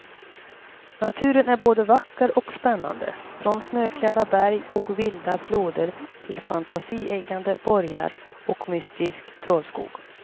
Naturen är både vacker och spännande, från snöklädda berg och vilda floder till fantasieggande borgar och mystisk trollskog.